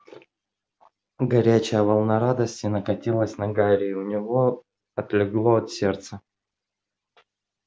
горячая волна радости накатилась на гарри и у него отлегло от сердца